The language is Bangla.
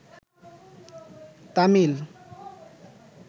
তামিল